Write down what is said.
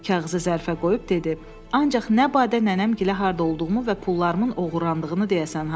Kağızı zərfə qoyub dedi: Ancaq nə badə nənəmgilə harda olduğumu və pullarımın oğurlandığını deyəsən ha.